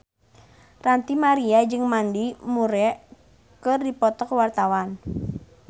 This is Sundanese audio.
Ranty Maria jeung Mandy Moore keur dipoto ku wartawan